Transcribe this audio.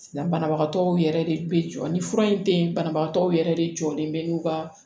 Banabagatɔw yɛrɛ de bɛ jɔ ni fura in tɛ ye banabagatɔw yɛrɛ de jɔlen bɛ n'u ka